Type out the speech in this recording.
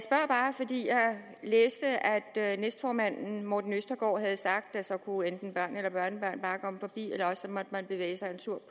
læste at næstformanden herre morten østergaard havde sagt at så kunne enten børn eller børnebørn bare komme forbi eller også måtte man bevæge sig en tur